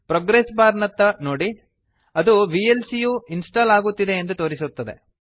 progress bar ನತ್ತ ನೋಡಿ ಅದು ವಿಎಲ್ಸಿ ಯು ಇನ್ಸ್ಟಾಲ್ ಆಗುತ್ತಿದೆ ಎಂದು ತೋರಿಸುತ್ತದೆ